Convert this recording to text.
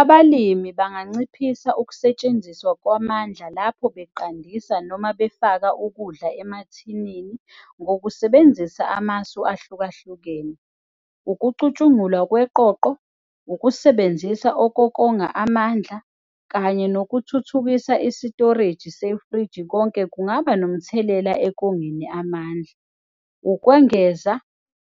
Abalimi banganciphisa ukusetshenziswa kwamandla lapho beqandisa noma befaka ukudla emathinini ngokusebenzisa amasu ahlukahlukene. Ukucutshungulwa kweqoqo, ukusebenzisa okokonga amandla kanye nokuthuthukisa isitoreji sefriji. Konke kungaba nomthelela ekongeni amandla. Ukwengeza,